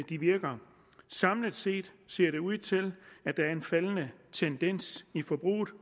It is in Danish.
de virker samlet set ser det ud til at der er en faldende tendens i forbruget